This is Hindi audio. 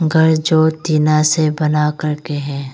घर जो टीना से बना करके है।